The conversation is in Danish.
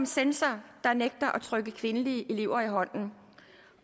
censor der nægter at trykke kvindelige elever i hånden